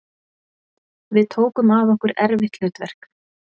Við tókum að okkur erfitt hlutverk